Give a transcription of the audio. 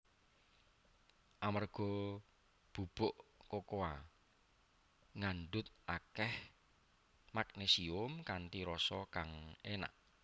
Amerga bubuk kokoa ngandhut akèh magnésium kanthi rasa kang énak